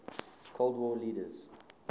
cold war leaders